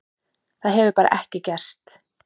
Það hefur bara ekki gerst.